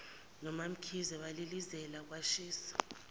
nomamkhize balilizela kwashisa